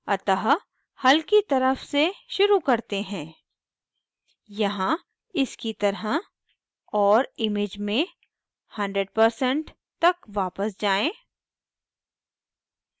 अतः हल्की तरफ से शुरू करते हैं यहाँ इसकी तरह और image में 100% तक वापस जाएँ